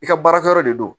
I ka baarakɛyɔrɔ de don